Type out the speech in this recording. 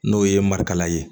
N'o ye marikala ye